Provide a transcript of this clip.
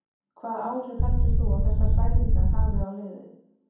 Hvaða áhrif heldur þú að þessar hræringar hafi á liðið?